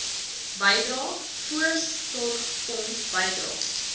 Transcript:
bydrae voorsorgfonds bydrae